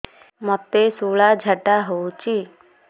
ମୋତେ ଶୂଳା ଝାଡ଼ା ହଉଚି